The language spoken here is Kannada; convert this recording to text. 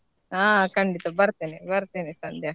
ಹಾ ಖಂಡಿತ ಬರ್ತೆನೆ ಬರ್ತೆನೆ ಸಂಧ್ಯಾ.